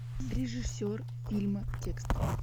режиссер фильма текст